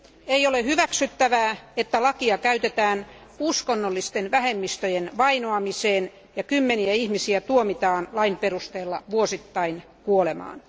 Ei ole hyväksyttävää, että lakia käytetään uskonnollisten vähemmistöjen vainoamiseen ja kymmeniä ihmisiä tuomitaan lain perusteella vuosittain kuolemaan.